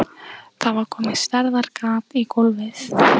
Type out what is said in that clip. Það var komið stærðar gat í gólfið.